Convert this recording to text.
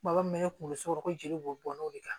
Kuma min bɛ ne kunkolo sogo ko jeli bɔn n'o de kan